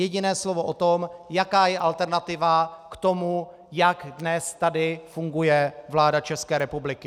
Jediné slovo o tom, jaká je alternativa k tomu, jak tady dnes funguje vláda České republiky.